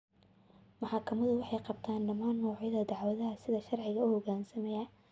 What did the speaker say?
Maxkamaduhu waxay qabtaan dhammaan noocyada dacwadaha si sharci ah u hoggaansamaya.